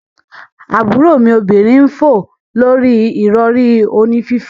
Aburo mi obinrin n fo lori irori oni fifo.